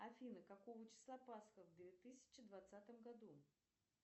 афина какого числа пасха в две тысячи двадцатом году